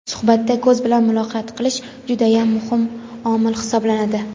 Suhbatda "ko‘z bilan muloqot qilish" judayam muhim omil hisoblanadi.